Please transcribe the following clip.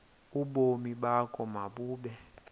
ubomi bakho mabube